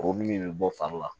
Kuru min bɛ bɔ fari la